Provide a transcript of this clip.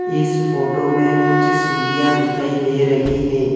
इस फोटो में कुछ सीढ़ियां दिखाई दे रही है।